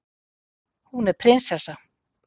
Hún er prinsessa.